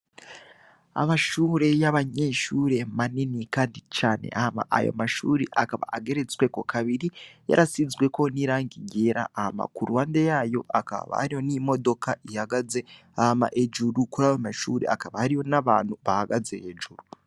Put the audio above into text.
Amashure y'abanyeshure manini, kandi cane ahama ayo mashuri akaba ageretsweko kabiri yarasizweko n'irang igera ahama ku ruhande yayo akaba baariyo n'imodoka ihagaze hama hejuru kuri abamashure akaba hariyo n'abantu bahagaze hejuru.